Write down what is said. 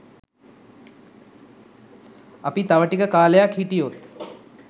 අපි තව ටික කාලයක් හිටියොත්